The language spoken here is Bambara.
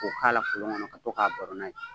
K'o k'a la kolon kɔnɔ ka baro n'a ye.